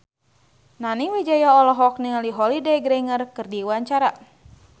Nani Wijaya olohok ningali Holliday Grainger keur diwawancara